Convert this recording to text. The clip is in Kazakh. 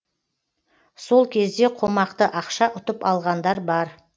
сол кезде қомақты ақша ұтып алғандар бар